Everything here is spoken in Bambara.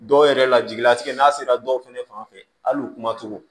Dɔw yɛrɛ la jigilatigɛ n'a sera dɔw fɛnɛ fanfɛ hali u kumacogo